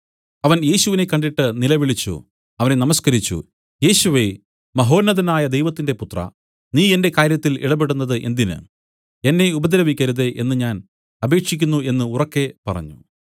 അവൻ യേശുവിനെ കണ്ടിട്ട് നിലവിളിച്ചു അവനെ നമസ്കരിച്ചു യേശുവേ മഹോന്നതനായ ദൈവത്തിന്റെ പുത്രാ നീ എന്റെ കാര്യത്തിൽ ഇടപെടുന്നത് എന്തിന് എന്നെ ഉപദ്രവിക്കരുതേ എന്നു ഞാൻ അപേക്ഷിക്കുന്നു എന്നു ഉറക്കെ പറഞ്ഞു